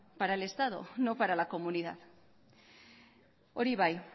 para el estado no para la comunidad hori bai